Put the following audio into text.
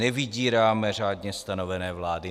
Nevydíráme řádně stanovené vlády.